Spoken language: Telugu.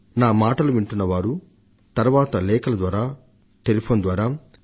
నా మాటలు వింటున్న వారు ఆ తరువాత వారి ఆలోచనలను లేఖల ద్వారా టెలిఫోన్ కాల్స్ ద్వారా Mygov